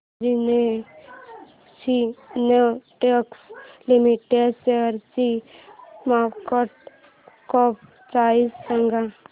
Anjani synthetics limited शेअरची market cap price सांगा